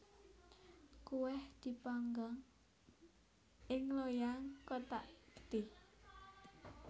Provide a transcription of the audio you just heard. Kuweh dipanggang ing loyang kothak gedhe